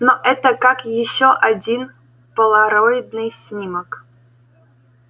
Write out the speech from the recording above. но это как ещё один полароидный снимок